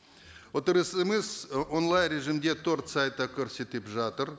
отырысымыз онлайн режимде төрт сайтта көрсетіп жатыр